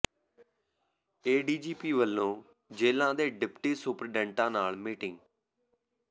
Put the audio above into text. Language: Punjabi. ਏ ਡੀ ਜੀ ਪੀ ਵੱਲੋਂ ਜੇਲ੍ਹਾਂ ਦੇ ਡਿਪਟੀ ਸੁਪਰਡੈਂਟਾਂ ਨਾਲ ਮੀਟਿੰਗ